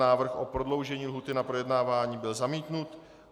Návrh o prodloužení lhůty na projednávání byl zamítnut.